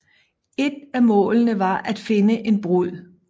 Et af målene var at finde en brud